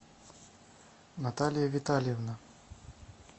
наталья витальевна